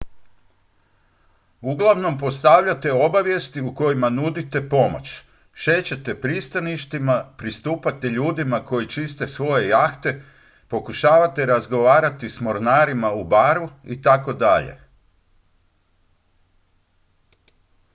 uglavnom postavljate obavijesti u kojima nudite pomoć šećete pristaništima pristupate ljudima koji čiste svoje jahte pokušavate razgovarati s mornarima u baru itd